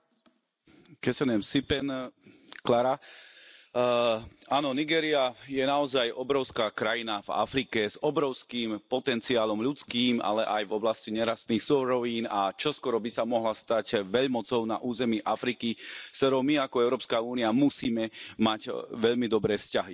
Vážená pani predsedajúca, Nigéria je naozaj obrovská krajina v Afrike s obrovským potenciálom ľudským, ale aj v oblasti nerastných surovín, a čoskoro by sa mohla stať veľmocou na území Afriky, s ktorou my, ako Európska únia, musíme mať veľmi dobré vzťahy.